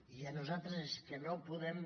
i nosaltres és que no podem